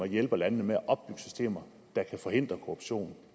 hjælper landene med at opbygge systemer der kan forhindre korruption